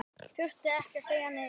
Þurfti ekki að segja neitt.